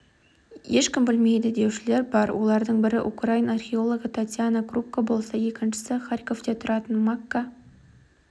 ешкім білмейді деушілер бар олардың бірі украин археологы татьяна крупко болса екіншісі харьковте тұратын макка